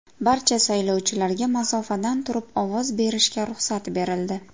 Barcha saylovchilarga masofadan turib ovoz berishga ruxsat berildi.